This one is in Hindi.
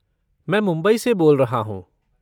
मैं मुंबई से बोल रहा हूँ।